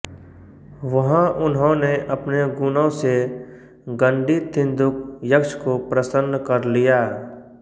वहाँ उन्होंने अपने गुणों से गंडी तिन्दुक यक्ष को प्रसन्न कर लिया